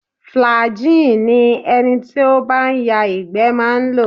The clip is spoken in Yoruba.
Flagin ni ẹni tí ó bá ń ya ìgbẹ́ máa ń lò